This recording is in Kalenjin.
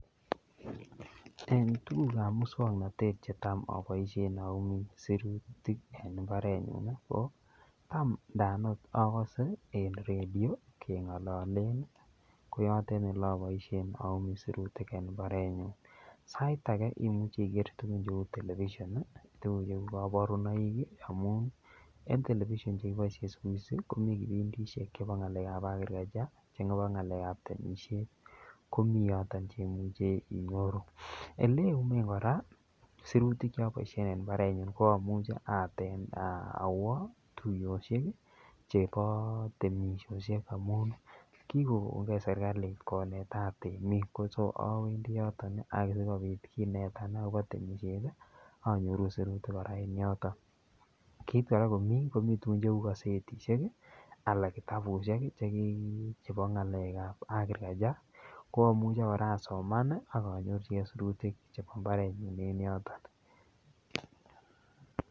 En tuguk ab moswoknatet Che Tam aboisien ayumi sirutik en mbarenyun ko Tam Inan okot agose en radio kengololen ko yoton Ole aboisien ayumii sirutik en mbarenyun sait age imuchi iger tuguk cheu television tuguk cheu kaborunoik amun en television Che kiboisien siku hizi komiten kibindisiek chebo ngalek ab agriculture chebo ngalek ab temisiet komi yoton Che muche inyoru Ole iyumen kora sirutik Che aboisien en mbarenyun ko amuche awo tuiyosiek chebo temisiosyek amun kigogon ge serkali konetat temik so awendi yoton asikobit kinetan agobo temisiet anyoru sirutik kora en yoton kit kora komi tugun cheu kasetisiek anan kitabusiek chebo ngalek ab agriculture ko amuche kora a soman ak nyorchigei sirutik chebo mbarenyun en yoton